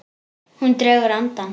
Hún dregur andann.